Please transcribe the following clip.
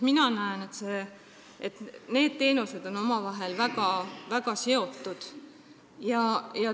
Minu arvates on need teenused omavahel väga seotud.